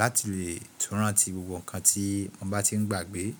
láti lè tún rántí gbogbo nǹkan tí mo bá ti ń gbàgbé.